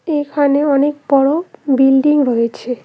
এখানে অনেক বড় বিল্ডিং রয়েছে।